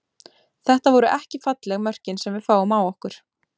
Þetta voru ekki falleg mörkin sem við fáum á okkur.